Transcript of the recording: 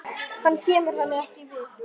Hann kemur henni ekkert við.